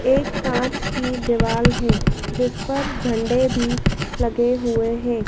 एक कांच की दीवाल है जिस पर झंडे भी लगे हुए हैं।